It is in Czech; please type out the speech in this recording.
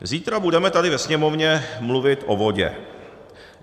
Zítra budeme tady ve Sněmovně mluvit o vodě.